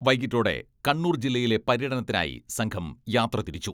വൈകീട്ടോടെ കണ്ണൂർ ജില്ലയിലെ പര്യടനത്തിനായി സംഘം യാത്ര തിരിച്ചു.